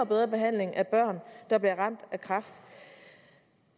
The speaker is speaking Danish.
bedre behandling af børn der bliver ramt af kræft